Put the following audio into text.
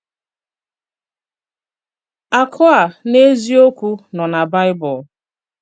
Àkụ̀ a, n’eziòkwù, nọ̀ nà Baịbụl.